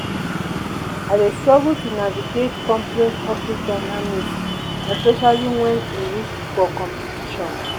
i dey struggle to navigate complex office dynamics especially wen e reach for competition.